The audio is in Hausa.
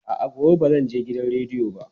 A'a, gobe ba zan je gidan rediyo ba.